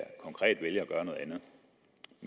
konkret vælger